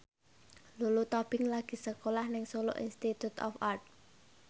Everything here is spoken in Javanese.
Lulu Tobing lagi sekolah nang Solo Institute of Art